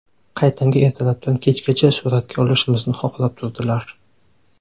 Qaytanga ertalabdan kechgacha suratga olishimizni xohlab turdilar.